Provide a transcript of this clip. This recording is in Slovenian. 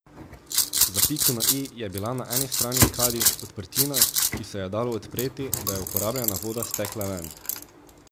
Za piko na i je bila na eni strani kadi odprtina, ki se jo je dalo odpreti, da je uporabljena voda stekla ven.